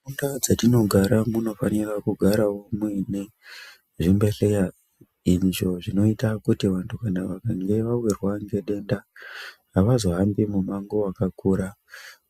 Mundaa dzatinogara munofanira kugarawo muine zvibhehleya izvo zvinoita kuti vantu kana vakange vawirwa ngedenda havazohambi mumango wakakura